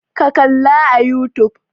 Ka kalla a youtube!